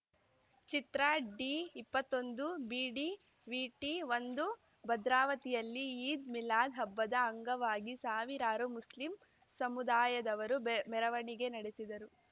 ಚಿತ್ರ ಡಿಇಪ್ಪತ್ತೊಂದುಬಿಡಿವಿಟಿಒಂದು ಭದ್ರಾವತಿಯಲ್ಲಿ ಈದ್‌ ಮಿಲಾದ್‌ ಹಬ್ಬದ ಅಂಗವಾಗಿ ಸಾವಿರಾರು ಮುಸ್ಲಿಂ ಸಮುದಾಯದವರು ಬೆ ಮೆರವಣಿಗೆ ನಡೆಸಿದರು